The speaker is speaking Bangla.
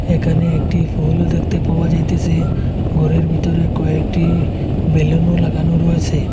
একানে একটি ফুলও দেখতে পাওয়া যাইতেসে গরের ভিতরে কয়েকটি বেলুনও লাগানো রয়েসে।